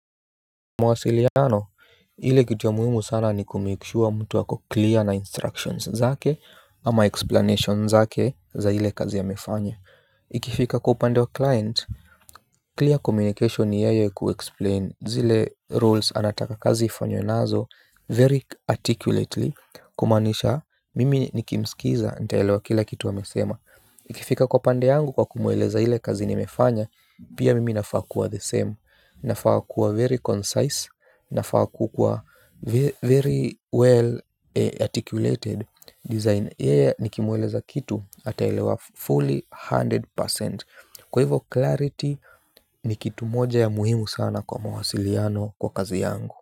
Mawasiliano, ile kitu ya muhimu sana ni kumake sure mtu ako clear na instructions zake ama explanations zake za ile kazi amefanya. Ikifika kwa upande wa client, clear communication ni yeye kuexplain zile rules anataka kazi ifanywe nazo very articulately kumaanisha mimi nikimsikiza nitaelewa kila kitu amesema. Ikifika kwa pande yangu kwa kumueleza ile kazi nimefanya. Pia mimi nafaa kuwa the same. Nafaa kuwa very concise. Nafaa kukuwa very well articulated design. Yeye nikimueleza kitu ataelewa fully hundred percent. Kwa hivo clarity ni kitu moja ya muhimu sana kwa mawasiliano kwa kazi yangu.